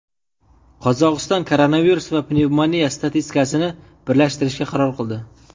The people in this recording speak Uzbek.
Qozog‘iston koronavirus va pnevmoniya statistikasini birlashtirishga qaror qildi.